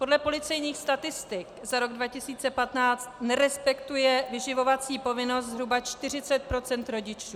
Podle policejních statistik za rok 2015 nerespektuje vyživovací povinnost zhruba 40 % rodičů.